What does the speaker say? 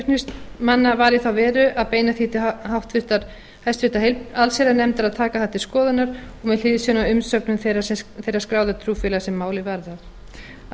niðurstaða flutningsmanna var í þá veru að beina því til háttvirtrar allsherjarnefndar að taka það til skoðunar og með hliðsjón af umsögnum þeirra skráðu trúfeálga sem málið varðar að